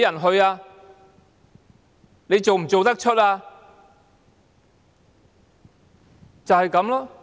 他們做得出嗎？